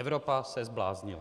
Evropa se zbláznila.